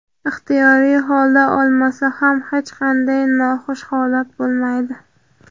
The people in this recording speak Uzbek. ixtiyoriy holda olmasa ham hech qanday noxush holat bo‘lmaydi.